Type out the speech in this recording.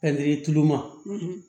Pɛntiri tulu ma